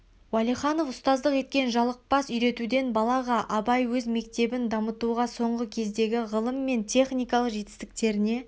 уалиханов ұстаздық еткен жалықпас үйретуден балаға абай өз мектебін дамытуда соңғы кездегі ғылым мен техникалық жетістіктеріне